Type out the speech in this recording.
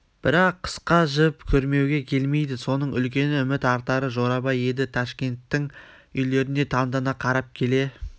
бірақ қысқа жіп күрмеуге келмейді соның үлкені үміт артары жорабай еді ташкенттің үйлеріне таңдана қарап келе